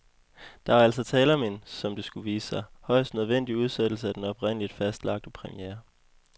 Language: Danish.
Der var altså tale om en, som det skulle vise sig, højst nødvendig udsættelse af den oprindeligt fastlagte premiere.